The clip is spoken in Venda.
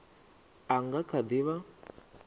a nga kha di vha